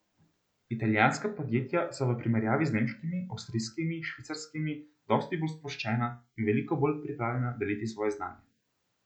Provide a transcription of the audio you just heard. Italijanska podjetja so v primerjavi z nemškimi, avstrijskimi, švicarskimi dosti bolj sproščena in veliko bolj pripravljena deliti svoje znanje.